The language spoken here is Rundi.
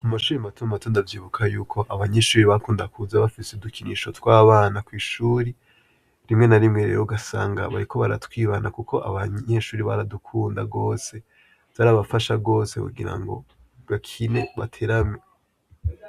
Mu mashuri mato mato ndavyibuka yuko abanyeshuri bakunda kuza bafise udukinisho tw'abana kw'ishuri rimwe n'arimwe ugasanga bariko baratwibana kuko abanyeshuri baradukunda gose vyarabafasha kugirango bakine baterame.